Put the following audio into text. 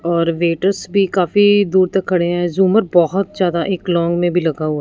और वेटर्स भी काफी दूर तक खड़े हैं झूमर बहोत ज्यादा एक लॉन्ग में भी लगा हुआ--